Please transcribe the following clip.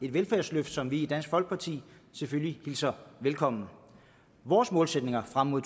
et velfærdsløft som vi i dansk folkeparti selvfølgelig hilser velkommen vores målsætninger frem mod